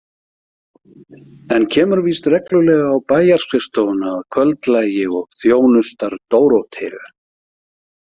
En kemur víst reglulega á bæjarskrifstofuna að kvöldlagi og þjónustar Dóróteu.